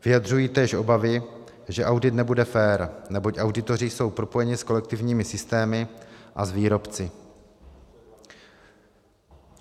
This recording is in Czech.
Vyjadřují též obavy, že audit nebude fér, neboť auditoři jsou propojeni s kolektivními systémy a s výrobci.